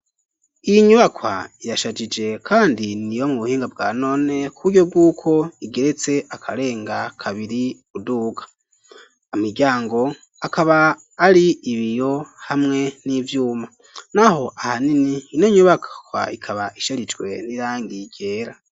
Iyi inyubakwa yashajije, kandi ni yo mu buhinga bwa none ku buryo bw'uko igeretse akarenga kabiri uduka amiryango akaba ari ibiyo hamwe n'ivyuma, naho aha nini inonyubakwa ikaba isharijwe nirangi gera.